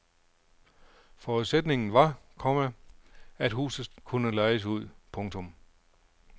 Forudsætningen var, komma at huset kunne lejes ud. punktum